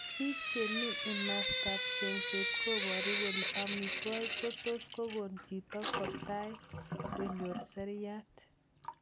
piig chemi imasta ab chengset koparu kole amitwogik kotus kogon chito kotai konyor seriat